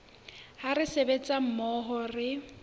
ha re sebetsa mmoho re